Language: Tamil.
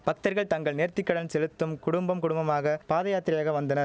பக்தர்கள் தங்கள் நேர்த்திக்கடன் செலுத்தும் குடும்பம் குடும்பமாக பாதயாத்திரையாக வந்தன